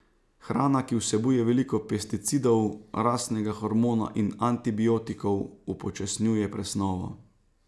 Hrana, ki vsebuje veliko pesticidov, rastnega hormona in antibiotikov, upočasnjuje presnovo.